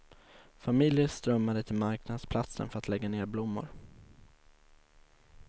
Familjer strömmade till marknadsplatsen för att lägga ner blommor.